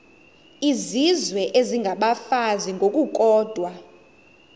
izizwe isengabafazi ngokukodwa